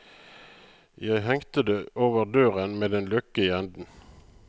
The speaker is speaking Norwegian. Jeg hengte det over døren med en løkke i enden.